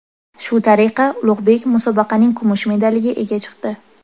Shu tariqa Ulug‘bek musobaqaning kumush medaliga ega chiqdi.